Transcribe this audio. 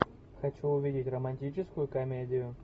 хочу увидеть романтическую комедию